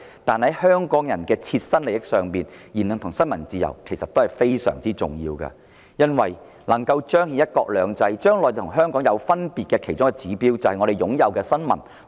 從香港人的切身利益出發，言論自由和新聞自由其實非常重要，既能彰顯"一國兩制"，亦是體現內地與香港分別的其中一個指標。